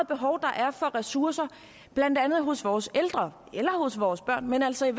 behov der er for ressourcer blandt andet hos vores ældre eller vores børn men altså